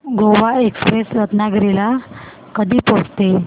Goa express Ratnagiri ला कधी पोहचते